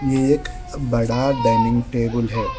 यह एक बड़ा डाइनिंग टेबल है।